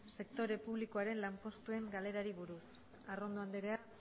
sektore publikoaren lanpostuen galerari buruz arrondo anderea